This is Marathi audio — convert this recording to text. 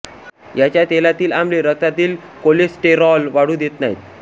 याच्या तेलातिल आम्ले रक्तातील कोलेस्टेरॉल वाढू देत नाहीत